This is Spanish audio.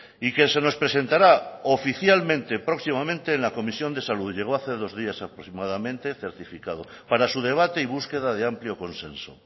y que se nos presentará oficialmente próximamente en la comisión de salud llegó hace dos días aproximadamente certificado para su debate y búsqueda de amplio consenso